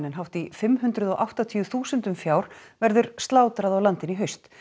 hátt í fimm hundruð og áttatíu þúsundum fjár verður slátrað á landinu í haust